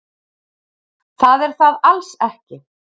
Það er það alls ekki.